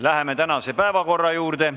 Läheme tänase päevakorra juurde.